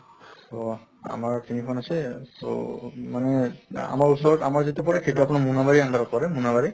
তহ আমাৰ তিনিখন আছে so মানে আমাৰ ওচৰত আমাৰ যিটো পৰে সেইটো আপোনাৰ মুনাবাৰী under ত পৰে, মুনাবাৰী